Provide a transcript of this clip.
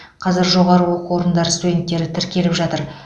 қазір жоғары оку орындар студенттері тіркеліп жатыр